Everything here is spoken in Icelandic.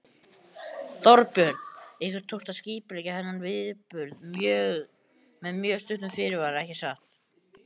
Þorbjörn: Ykkur tókst að skipuleggja þennan viðburð með mjög stuttum fyrirvara ekki satt?